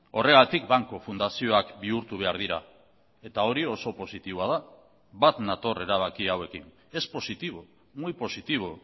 horregatik banku fundazioak bihurtu behar dira eta hori oso positiboa da bat nator erabaki hauekin es positivo muy positivo